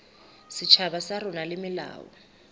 setjhaba sa rona le melao